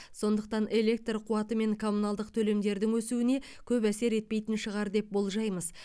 сондықтан электр қуаты мен коммуналдық төлемдердің өсуіне көп әсер етпейтін шығар деп болжаймыз